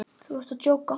Þú ert að djóka?